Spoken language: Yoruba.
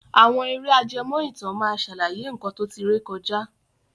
Àwọn ère ajẹmó ìtàn máa sàlàyé nkan to tí ré kọjá